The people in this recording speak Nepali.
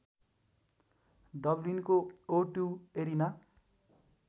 डबलिनको ओ टु एरेना